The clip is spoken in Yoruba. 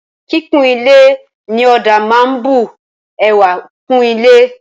Kíkun ilé ní ọ̀dà máa ń bu ẹwà kún ilé.